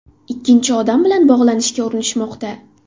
Ikkinchi odam bilan bog‘lanishga urinishmoqda.